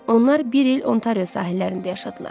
Onlar bir il Ontario sahillərində yaşadılar.